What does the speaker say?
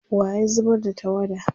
wa ya zubar da tawada?